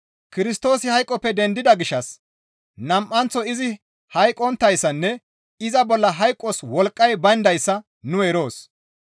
Kirstoosi hayqoppe dendida gishshas nam7anththo izi hayqqonttayssanne iza bolla hayqos wolqqay bayndayssa nu eroos.